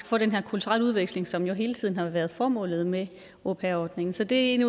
få den her kulturelle udveksling som jo hele tiden har været formålet med au pair ordningen så det er en af